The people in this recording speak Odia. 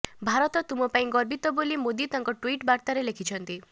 ଭାରତ ତୁମ ପାଇଁ ଗର୍ବିତ ବୋଲି ମୋଦି ତାଙ୍କ ଟ୍ୱିଟ୍ ବାର୍ତ୍ତାରେ ଲେଖିଛନ୍ତି